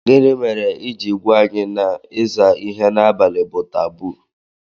Gini mere i jiri gwa anyi na iza ihe n'abali bu taboo?